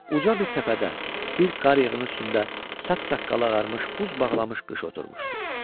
Uca bir təpədə, bir qar yığının üstündə saç saqqalı ağarmış buz bağlamış qış oturmuşdu.